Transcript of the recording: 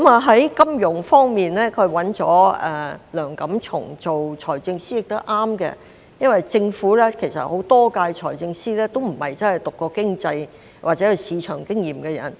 在金融方面，他委任梁錦松擔任財政司司長，這也是正確的，因為政府很多屆財政司都不是真的修讀過經濟或有市場經驗的人。